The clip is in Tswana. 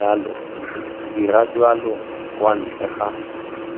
dira jalo kwa ntle ga